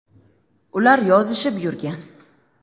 Ular yozishib yurgan.